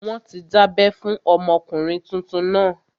Wọ́n ti dábẹ́ fún ọmọkùnrin tuntun náà